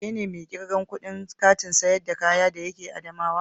Ke ne mai irgan kudin Kantin sayar da kaya de yake adamawa?